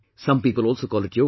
Some people also call it Yoga